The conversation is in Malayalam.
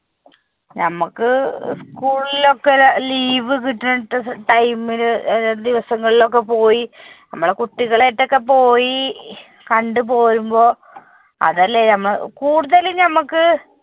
നമുക്ക് school ഒക്കെ leave കിട്ടുന്ന time ൽ ആഹ് ദിവസങ്ങളിൽ ഒക്കെ പോയി, നമ്മുടെ കുട്ടികൾ ഒക്കെ ആയിട്ട് പോയി കണ്ടു പോരുമ്പോൾ അതല്ലേ ഏർ കുടുതലും നമുക്ക്